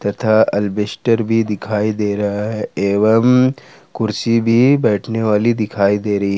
तथा एल्वेस्टर भी दिखाई दे रहा है एवं कुर्सी भी बैठने वाली दिखाई दे रही--